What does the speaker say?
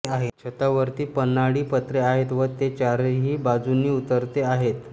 छतावरती पन्हाळी पत्रे आहेत व ते चारही बाजूंनी उतरते आहेत